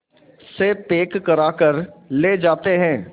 से पैक कराकर ले जाते हैं